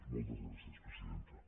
moltes gràcies presidenta